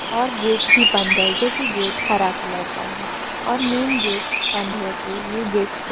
और गेट भी बंद है जो की गेट हरा कलर का है और मेइन गेट बंद होके ये गेट खुला--